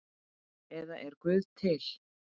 eða Er Guð til?